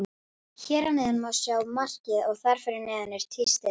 Hér að neðan má sjá markið og þar fyrir neðan er tístið.